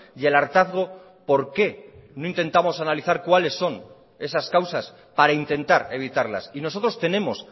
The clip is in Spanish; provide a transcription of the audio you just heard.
y el hartazgo por qué no intentamos analizar cuales son esas causas para intentar evitarlas y nosotros tenemos